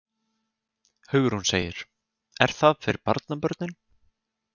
Hugrún: Er það fyrir barnabörnin?